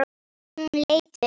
Hún leit upp.